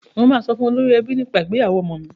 Mo máa sọ fún olórí ẹbí nípa ìgbéyàwó ọmọ mi.